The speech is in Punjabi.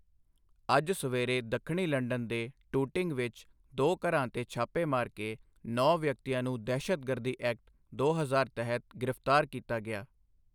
ਅੱਜ ਸਵੇਰੇ ਦੱਖਣੀ ਲੰਡਨ ਦੇ ਟੂਟਿੰਗ ਵਿੱਚ ਦੋ ਘਰਾਂ 'ਤੇ ਛਾਪੇ ਮਾਰ ਕੇ ਨੌਂ ਵਿਅਕਤੀਆਂ ਨੂੰ ਦਹਿਸ਼ਤਗਰਦੀ ਐਕਟ ਦੋ ਹਜ਼ਾਰ ਤਹਿਤ ਗ੍ਰਿਫ਼ਤਾਰ ਕੀਤਾ ਗਿਆ।